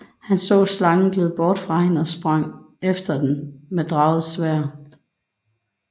Han så slangen glide bort fra hende og sprang efter den med draget sværd